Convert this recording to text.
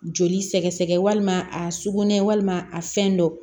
Joli sɛgɛsɛgɛ walima a sugunɛ walima a fɛn dɔ